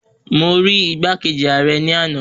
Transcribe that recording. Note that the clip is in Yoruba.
Mo rí igbákejì ààrẹ ní ana